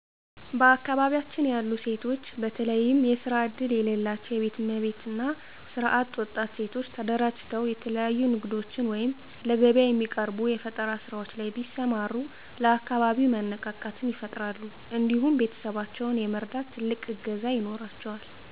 በአካባቢያችን ያሉ ሴቶች በተለየም የስራ እድል የለላቸው የቤት እመቤት እና ስራ አጥ ወጣት ሴቶች ተደራጅተው የተለያዩ ንግዶች ወይም ለገቢያ የሚቀርቡ የፈጠራ ስራዎች ላይ ቢሰማሩ ለአካባቢው መነቃቃትን ይፈጥራሉ እንዲሁም ቤተሰባቸውን የመርዳት ትልቅ እገዛ ይኖራቸዋል።